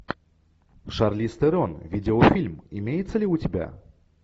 шарлиз терон видеофильм имеется ли у тебя